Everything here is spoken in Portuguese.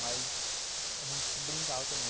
Mas a gente brincava também.